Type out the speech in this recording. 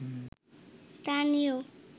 তা নিয়েও